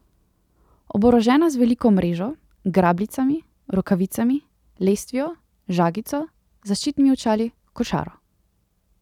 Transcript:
Oborožena z veliko mrežo, grabljicami, rokavicami, lestvijo, žagico, zaščitnimi očali, košaro ...